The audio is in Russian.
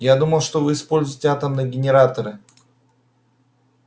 я думал что вы используете атомные генераторы